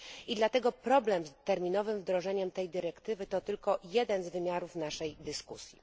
I dlatego problem z terminowym wdrożeniem tej dyrektywy to tylko jeden z wymiarów naszej dyskusji.